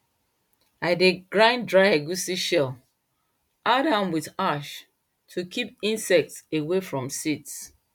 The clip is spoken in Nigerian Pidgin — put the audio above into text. i dey grind dry egusi shell add am wit ash to kip insects away from seeds